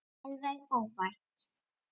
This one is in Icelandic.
Alveg óvænt!